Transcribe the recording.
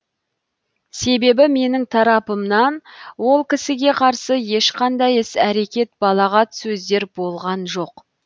себебі менің тарапымнан ол кісіге қарсы ешқандай іс әрекет балағат сөздер болған жоқ